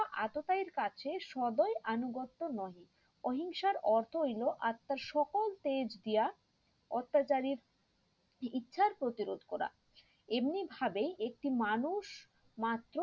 এতটাই কাছে সবাই আনুগত্য নহি অহিংসার অর্থ হইলো আত্মার সকল তেজ দিয়া অত্যাচারীর ইচ্ছার প্রতিরোধ করা এমনি ভাবেই একটি মানুষ মাত্র